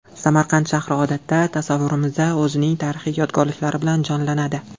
Samarqand shahri odatda tasavvurimizda o‘zining tarixiy yodgorliklari bilan jonlanadi.